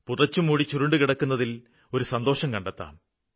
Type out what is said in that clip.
പുതച്ചുമൂടി ചുരുണ്ടു കിടക്കുന്നതില് ഒരു സന്തോഷം കണ്ടെത്താം